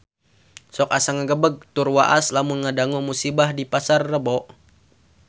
Sok asa ngagebeg tur waas lamun ngadangu musibah di Pasar Rebo